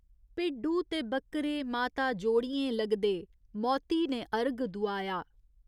भिड्डू ते बक्करे माता जोड़ियें लगदे मौती ने अरघ दुआया।